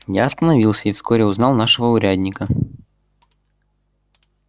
я остановился и вскоре узнал нашего урядника